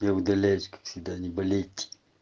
я удаляюсь как всегда не болеть